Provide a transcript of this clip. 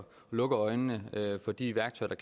lukker øjnene for de værktøjer